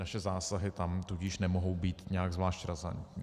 Naše zásahy tam tudíž nemohou být nějak zvlášť razantní.